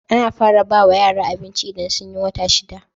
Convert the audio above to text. Ana fara bawa yara abinci idan sunyi wata shida